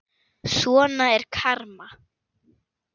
Svona er karma.